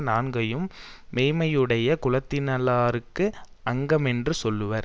நான்கினையும் மெய்ம்மையுடைய குலத்தினுள்ளார்க்கு அங்கமென்று சொல்லுவர்